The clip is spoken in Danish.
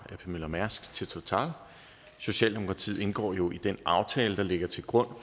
ap møller mærsk til total socialdemokratiet indgår jo i den aftale der ligger til grund